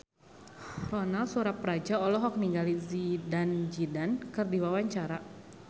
Ronal Surapradja olohok ningali Zidane Zidane keur diwawancara